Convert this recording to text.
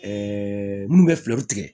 minnu bɛ fɛɛrɛw tigɛ